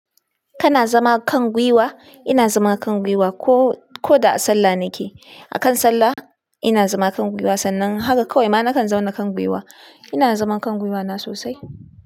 Kana zama kan gwiwa? Ina zama kan gwiwa ko, ko da a sallah nike. Akan sallah ina zama kan gwiwa, sannan har kawai ma nakan zauna kan gwiwa. Ina zama kan gwiwa na sosai.